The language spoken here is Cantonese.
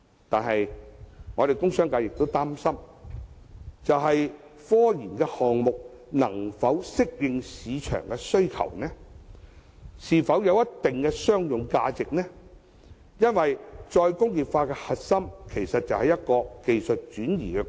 但是，工商界亦擔心科研項目能否順應市場的需求？是否有一定的商用價值？因為再工業化的核心，其實就是技術轉移。